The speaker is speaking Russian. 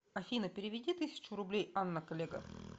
афина переведи тысячу рублей анна коллега